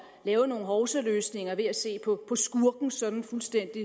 lave nogle hovsaløsninger ved at se på skurken sådan fuldstændig